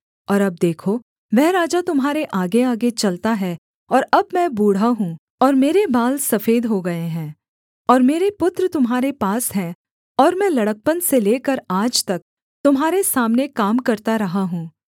और अब देखो वह राजा तुम्हारे आगेआगे चलता है और अब मैं बूढ़ा हूँ और मेरे बाल सफेद हो गए हैं और मेरे पुत्र तुम्हारे पास हैं और मैं लड़कपन से लेकर आज तक तुम्हारे सामने काम करता रहा हूँ